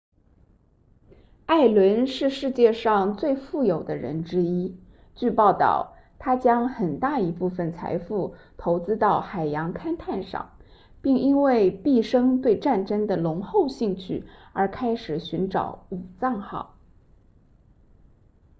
艾伦是世界上最富有的人之一据报道他将很大一部分财富投资到海洋勘探上并因为毕生对战争的浓厚兴趣而开始寻找武藏号